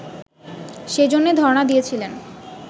সেজন্যে ধরনা দিয়েছিলেন